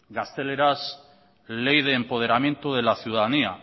gaztelerak ley de empoderamiento de la ciudadanía